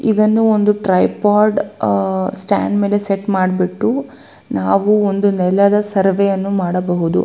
ಇದು ಒಂದು tripod stand ಮೇಲೆ ಸೆಟ್ ಮಾಡ್ಬಿಟ್ಟು ನಾವು ಒಂದು ನೆಲದ ಸರ್ವೆ ಯನ್ನು ಮಾಡಬಹುದು.